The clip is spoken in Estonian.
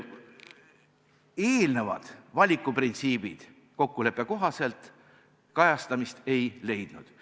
Eelnevad valikuprintsiibid kokkuleppe kohaselt kajastamist ei leidnud.